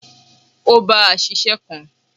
O bá a ṣiṣẹ́ kan.